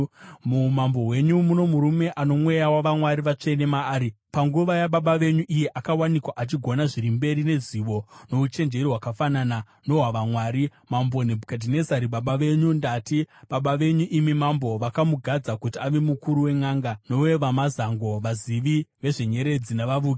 Muumambo hwenyu muno murume ano mweya wavamwari vatsvene maari. Panguva yababa venyu iye akawanikwa achigona zviri mberi nezivo nouchenjeri hwakafanana nohwavamwari. Mambo Nebhukadhinezari baba venyu, ndati baba venyu imi mambo, vakamugadza kuti ave mukuru wenʼanga, nowevamazango, vazivi vezvenyeredzi navavuki.